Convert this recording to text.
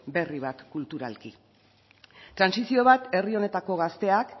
berri bat kulturalki trantsizio bat herri honetako gazteak